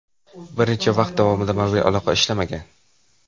Bir necha vaqt davomida mobil aloqa ishlamagan.